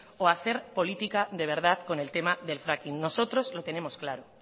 o hacer política de verdad con el tema del fracking nosotros lo tenemos claro